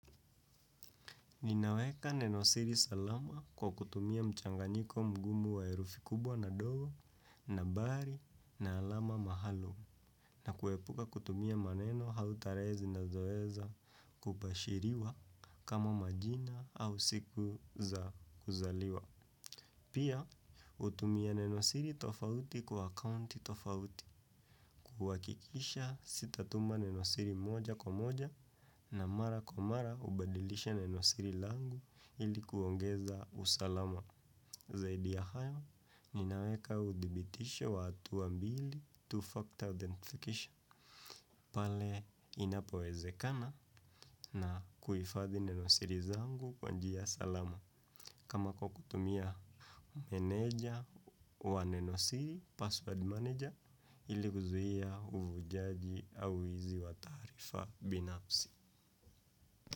Ninaweka nenosiri salama kwa kutumia mchanganyiko mgumu wa herufi kubwa na ndogo nambari na alama maalum na kuepuka kutumia maneno au tarehe zinazoweza kupashiriwa kama majina au siku za kuzaliwa. Pia, hutumia nenosiri tofauti kwa accounti tofauti, kuhakikisha sitatuma nenosiri moja kwa moja na mara kwa mara hubadilisha nenosiri langu ili kuongeza usalama. Zaidi ya hayo ninaweka udhibitisha wa hatua mbili two factor authentication. Pale inapowezekana na kuhifadhi nenosiri zangu kwa njia salama. Kama kwa kukutumia meneja wa neno siri password manager ili kuzuia uvujaji au wizi wa taarifa binafsi.